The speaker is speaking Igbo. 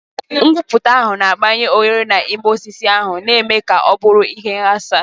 Ngwuputa ahụ na-agbanye oghere n'ime osisi ahụ, na-eme ka ọ bụrụ ihe ịghasa.